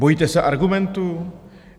Bojíte se argumentů?